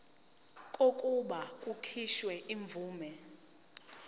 kokuba kukhishwe imvume